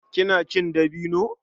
Kina cin dabino?